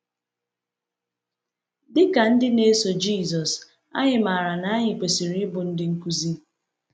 Dị ka ndị na-eso Jisọs, anyị maara na anyị kwesịrị ịbụ ndị nkuzi.